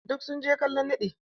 Duk sun je kallon naɗi.